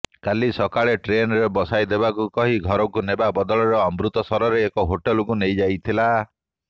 କାଲି ସକାଳେ ଟ୍ରେନରେ ବସାଇଦେବାକୁ କହି ଘରକୁ ନେବା ବଦଳରେ ଅମୃତସରର ଏକ ହୋଟେଲକୁ ନେଇଥିଲା